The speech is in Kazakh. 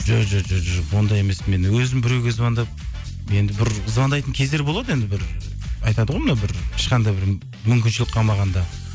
жоқ ондай емеспін мен өзім біреуге звондап енді бір звондайтын кездер болады енді бір айтады ғой мынау бір ешқандай мүмкіншілік қалмағанда